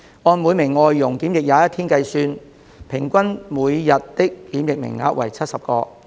按每名外傭檢疫21天計算，平均每日的檢疫名額為70個。